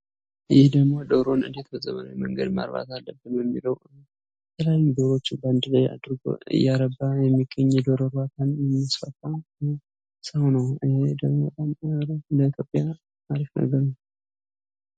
ይህ ደግሞ ዶሮን እንዴት በፀባይ መንገድ ማርባት አለብን በሚለው ጉዳይ ዶሮዎችን አንድ ላይ አድርጎ የሚገኝ ሰው ነው ይህ ደግሞ ለኢትዮጵያ በጣም ጠቃሚ ነው።